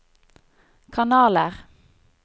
kanaler